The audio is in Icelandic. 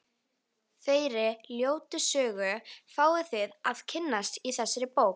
Þeirri ljótu sögu fáið þið að kynnast í þessari bók.